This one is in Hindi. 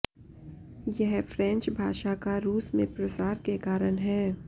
यह फ्रेंच भाषा का रूस में प्रसार के कारण है